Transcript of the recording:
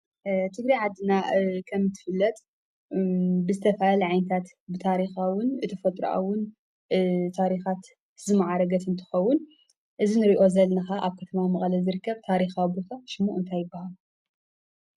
ትግራይ ዓድና ከም እትፈለጥ ብዝተፈላለየ ዓይነታት ብታሪኻዊን ብተፈጥራኣዊን ታሪኻት ዝማዕረገት እንትኸውን እዚ እንሪኦ ዘለና ካዓ ኣብ ከተማ ማቐለ ዝርከብ ታሪኻዊ ቦታ ሽሙ እንታይ ይባሃል?